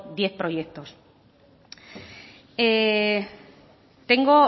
diez proyectos tengo